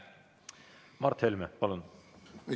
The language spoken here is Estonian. Mart Helme, palun!